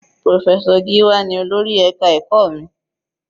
Professor Giwa ní olórí ẹka ẹ̀kọ́ mi.